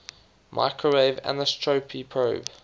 microwave anisotropy probe